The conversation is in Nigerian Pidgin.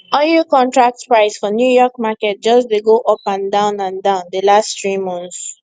oil contract price for new york market just de go up and down and down the last three months